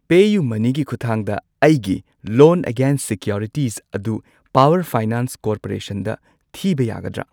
ꯄꯦꯌꯨꯃꯅꯤꯒꯤ ꯈꯨꯊꯥꯡꯗ ꯑꯩꯒꯤ loan against securities ꯑꯗꯨ ꯄꯥꯋꯔ ꯐꯥꯏꯅꯥꯟꯁ ꯀꯣꯔꯄꯣꯔꯦꯁꯟꯗ ꯊꯤꯕ ꯌꯥꯒꯗ꯭ꯔꯥ?